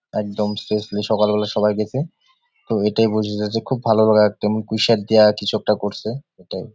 একদম শেষমেশ সকালবেলা সবাই গেছে তো এটাই বোঝা যায় যে খুব ভালো করে একদম পুঁই শাক দিয়ে কিছু একটা করসে এটাই ।